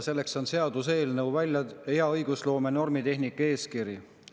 Selleks on hea õigusloome ja normitehnika eeskiri.